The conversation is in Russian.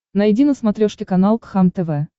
найди на смотрешке канал кхлм тв